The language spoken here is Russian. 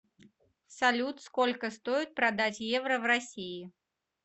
салют сколько стоит продать евро в россии